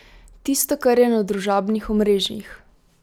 Tisto, kar je na družabnih omrežjih?